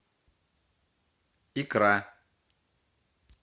икра